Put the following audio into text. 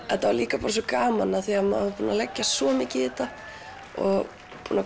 þetta var líka svo gaman því maður var búinn að leggja svo mikið í þetta og